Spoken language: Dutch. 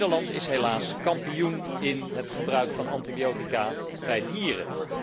Nederland is helaas kampioen in het gebruik van antibiotica bij dieren.